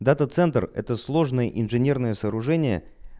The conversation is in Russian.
дата центр это сложные инженерные сооружения